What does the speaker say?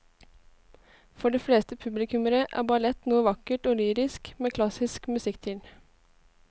For de fleste publikummere er ballett noe vakkert og lyrisk med klassisk musikk til.